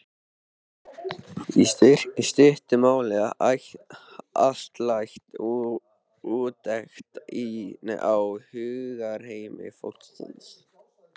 í stuttu máli altæk úttekt á hugarheimi fólksins.